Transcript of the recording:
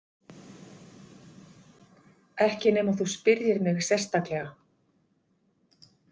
Ekki nema þú spyrjir mig sérstaklega.